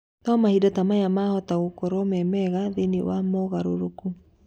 No mahinda ta maya mahota gũkorwo memega thĩinĩ wa mũgarũrũku